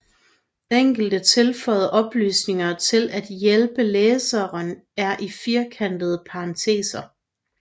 Enkelte tilføjede oplysninger til at hjælpe læseren er i firkantede parenteser